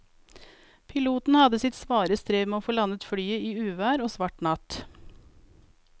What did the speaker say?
Piloten hadde sitt svare strev med å få landet flyet i uvær og svart natt.